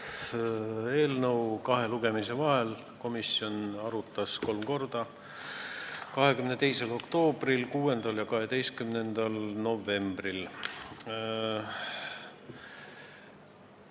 Seda eelnõu arutas komisjon kahe lugemise vahel kolmel korral: 22. oktoobril, 6. ja 12. novembril.